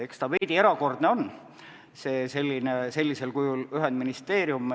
Eks ta veidi erakordne on, see sellisel kujul ühendministeerium.